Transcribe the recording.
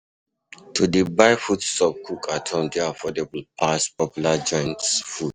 To de buy food stuff cook at home de affordable pass popular joints food